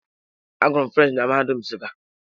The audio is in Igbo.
Agụrụ m French na mahadum nsuka.